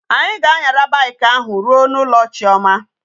Anyi ga anyara bike ahu ruo na ulo chioma